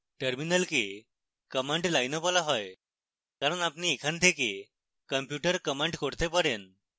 terminal command লাইনও বলা হয় কারণ আপনি এখানে থেকে কম্পিউটার command করতে পারেন